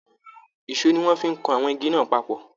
Èsó ní wọn fí kàn àwọn igi náà papọ̀.